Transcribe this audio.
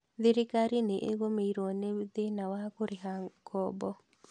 Thirkari nĩ ĩgũmĩirwo nĩ thĩna wa kũrĩha ngombo